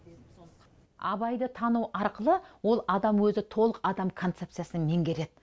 абайды тану арқылы ол адам өзі толық адам концепциясын менгереді